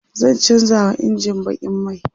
zan chanza wa injin bakin mai